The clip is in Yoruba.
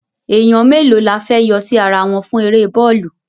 Èèyàn mélòó la fẹ́ yọ sí ara wọn fún eré bọ́ọ̀lù?